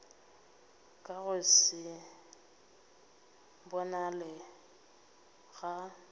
ka go se bonale ga